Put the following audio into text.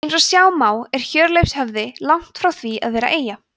eins og sjá má er hjörleifshöfði langt frá því að vera eyja